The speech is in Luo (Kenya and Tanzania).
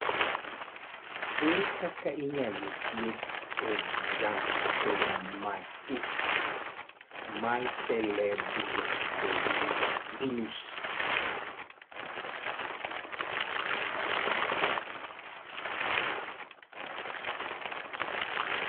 Ere kaka inyalo thiedh xanthomatosis mar cerebrotendinous?